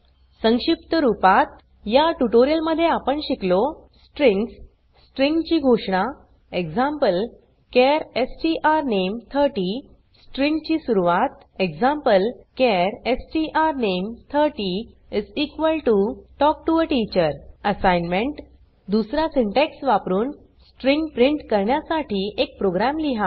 संक्षिप्त रूपात या ट्यूटोरियल मध्ये आपण शिकलो स्ट्रिंग्स स्ट्रिँग ची घोषणा eg चार strname30 स्ट्रिँग ची सुरवात eg चार strname30 talk to a teacher assignment दुसरा सिंटॅक्स वापरुन स्ट्रिँग प्रिंट करण्यासाठी एक प्रोग्राम लिहा